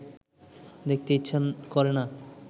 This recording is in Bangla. দেখতে ইচ্ছা করে না